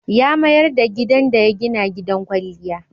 Ya mayar da gidan da ya gina gidan kwalliya.